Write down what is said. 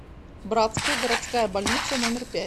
братская городская больница номер пять